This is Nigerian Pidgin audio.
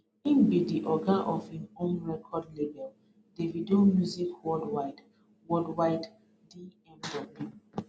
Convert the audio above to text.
im be di oga of im own record lable davido music worldwide worldwide dmw